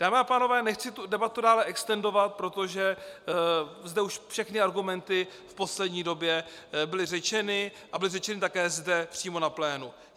Dámy a pánové, nechci tu debatu dále extendovat, protože zde už všechny argumenty v poslední době byly řečeny a byly řečeny také přímo zde na plénu.